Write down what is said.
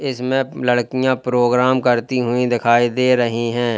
इसमें लड़कियां प्रोग्राम करती हुई दिखाई दे रही हैं।